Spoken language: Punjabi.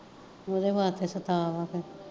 ਓਦੇ ਵਾਸਤੇ ਸਤਾਅ ਵਾ ਕੇ